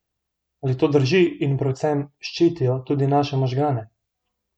Ali to drži in predvsem, ščitijo tudi naše možgane?